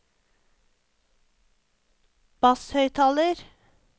basshøyttaler